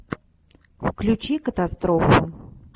включи катастрофу